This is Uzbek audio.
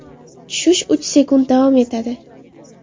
Tushish uch sekund davom etadi.